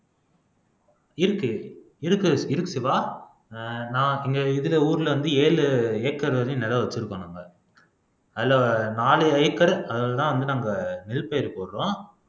இருக்கு இருக்கு இருக்கு சிவா நான் இங்க இருக்குற ஊர்ல வந்து ஏழு ஏக்கர் வரையும் நிலம் வச்சிருக்கோம் நாங்க அதுல நாலு ஏக்கர் அதுலதான் வந்து நம்ப நெல் பயிர் போடுறோம்